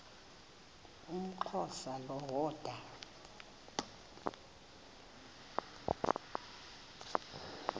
umxhosa lo woda